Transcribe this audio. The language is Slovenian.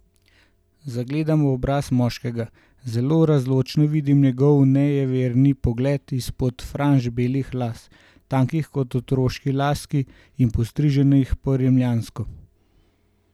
Zagledam obraz moškega, zelo razločno vidim njegov nejeverni pogled izpod franž belih las, tankih kot otroški laski, in postriženih po rimljansko.